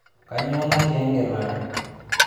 Kanyoo natii egelare